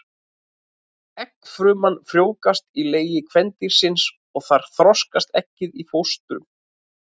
Eggfruman frjóvgast í legi kvendýrsins og þar þroskast eggið í fóstur.